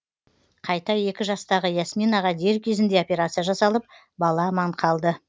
қайта екі жастағы ясминаға дер кезінде операция жасалып бала аман қалды